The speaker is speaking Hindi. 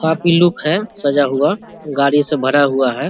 काफी लुक है सजा हुआ गाड़ी से भरा हुआ है।